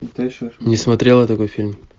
не смотрел я такой фильм